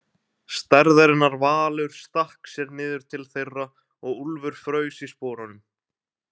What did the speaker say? Stærðarinnar valur stakk sér niður til þeirra og Úlfur fraus í sporunum.